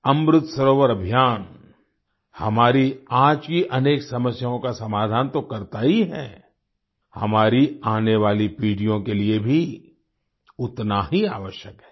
अमृत सरोवर अभियान हमारी आज की अनेक समस्याओं का समाधान तो करता ही है हमारी आने वाली पीढ़ियों के लिए भी उतना ही आवश्यक है